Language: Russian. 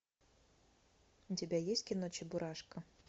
у тебя есть кино чебурашка